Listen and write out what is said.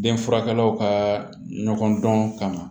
Denfurakɛlaw ka ɲɔgɔn dɔn ka na